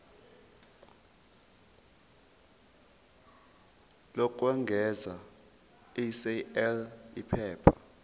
lokwengeza sal iphepha